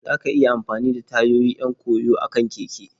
za ka iya amfani da tayoyi 'yan koyo akan keke.